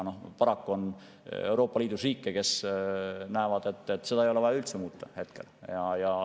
Paraku on Euroopa Liidus riike, kes arvavad, et seda ei ole vaja üldse kohe muuta.